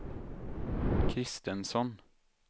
Kristensson